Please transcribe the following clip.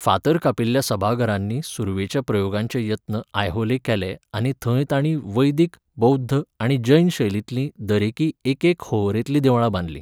फातर कापिल्ल्या सभाघरांनी सुरवेच्या प्रयोगांचे यत्न आयहोले केले आनी थंय तांणी वैदीक, बौध्द आनी जैन शैलींतलीं दरेकीं एकेक होंवरेंतलीं देवळां बांदलीं.